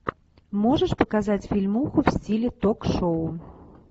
можешь показать фильмуху в стиле ток шоу